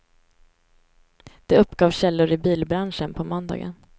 Det uppgav källor i bilbranschen på måndagen.